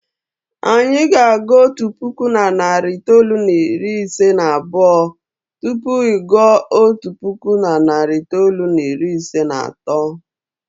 Anyị na-agụ otu puku na narị itoolu na iri ise na abụọ tupu ị gụọ otu puku na narị itoolu na iri ise na atọ.